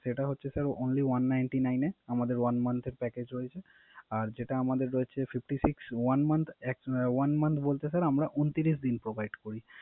সেটা হচ্ছে sir Only one hundred ninty nibe আমাদের one month এর Package রয়েছে। আর যেটা আমাদের রয়েছে Fifty six, one Month বলতে স্যার আমরা ঊনত্রিশ দিন Provide করি।